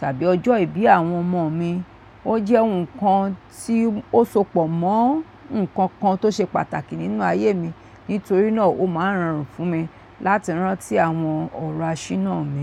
tàbí ọjọ́ ìbí àwọn ọmọ mi. Ó jẹ́ nǹkan tí ó sopọ̀ mọ́ nǹkan kan tó ṣe pàtàkì nínú ayé mi. Nítorí náà, ó máa ń rọrùn fún mi láti rántí àwọn ọ̀rọ̀ àṣìnnà mi.